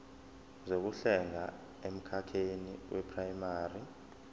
zokuhlenga emkhakheni weprayimari